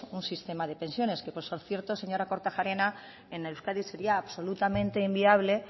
un sistema de pensiones que por cierto señora kortajarena en euskadi sería absolutamente inviable